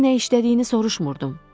Onu nə işlədiyini soruşmurdum.